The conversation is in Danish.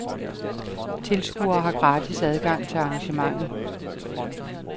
Tilskuere har gratis adgang til arrangementet.